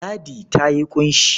Ladi ta yi ƙunshi.